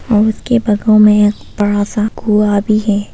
और उसके बागों में थोड़ा सा कुआ भी है।